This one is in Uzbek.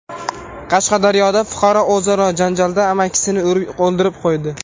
Qashqadaryoda fuqaro o‘zaro janjalda amakisini urib o‘ldirib qo‘ydi.